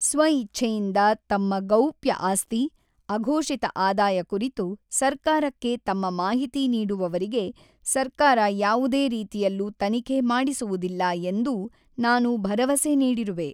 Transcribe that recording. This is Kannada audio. ಸ್ವ ಇಚ್ಛೆಯಿಂದ ತಮ್ಮ ಗೌಪ್ಯ ಆಸ್ತಿ, ಅಘೋಷಿತ ಆದಾಯ ಕುರಿತು ಸರ್ಕಾರಕ್ಕೆ ತಮ್ಮ ಮಾಹಿತಿ ನೀಡುವವರಿಗೆ ಸರ್ಕಾರ ಯಾವುದೇ ರೀತಿಯಲ್ಲೂ ತನಿಖೆ ಮಾಡಿಸುವುದಿಲ್ಲ ಎಂದೂ ನಾನು ಭರವಸೆ ನೀಡಿರುವೆ.